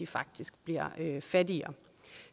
faktisk bliver fattigere